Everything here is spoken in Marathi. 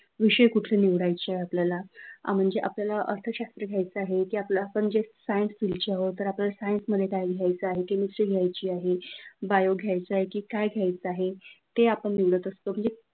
विषय कुठले निवडायचेत आपल्याला म्हणजे आपल्याला अर्थशास्त्र घ्यायचा आहे की आपल्याला आपण जर सायन्स फिल्ड चे आहोत तर आपल्याला सायन्स मध्ये घ्यायचा आहे, की केमिस्ट्री घ्यायची आहे, बायो घ्यायचा आहे की काय घ्यायचा आहे ते आपण निवडत असतो म्हणजे विषय कुठले निवडायचे आपल्याला,